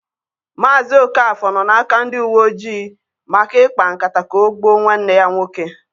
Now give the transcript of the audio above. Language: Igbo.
Mazị Okafor nọ n'aka ndị uwe ojii maka ịkpa nkata ka o gbuọ nwanne ya nwoke.